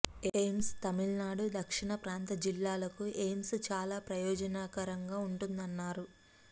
AIIMS Tamil Nadu దక్షిణ ప్రాంత జిల్లాలకు ఎయిమ్స్ చాలా ప్రయోజనకరంగా ఉంటుందన్నారు